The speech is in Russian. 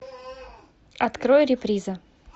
открой реприза